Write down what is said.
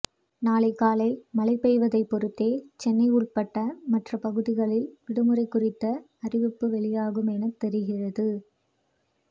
நாளை காலை மழை பெய்வதை பொருத்தே சென்னை உள்பட மற்ற பகுதிகளில் விடுமுறை குறித்த அறிவிப்பு வெளியாகும் என தெரிகிறது